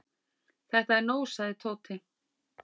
Þetta er nóg sagði Tóti.